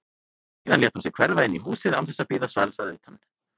Síðan lét hún sig hverfa inn í húsið án þess að bíða svars að utan.